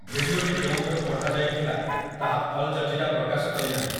ଭିଡ଼ିଓଟି କେଉଁଠାରୁ ପଠାଯାଇଥିଲା ତାହା ଅଲ୍‌ଜଜିରା ପ୍ରକାଶ କରିନାହିଁ ।